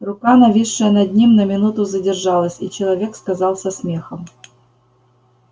рука нависшая над ним на минуту задержалась и человек сказал со смехом